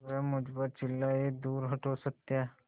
वह मुझ पर चिल्लाए दूर हटो सत्या